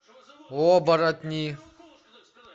оборотни